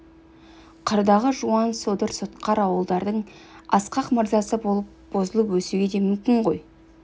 қырдағы жуан содыр сотқар ауылдардың асқақ мырзасы болып бұзылып өсуге де мүмкін ғой